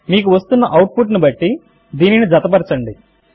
మీకు వస్తున్న output ను బట్టి దీనిని జతపరచండి